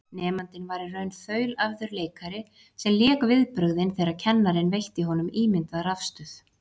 Nemandinn var í raun þaulæfður leikari sem lék viðbrögðin þegar kennarinn veitti honum ímyndað rafstuð.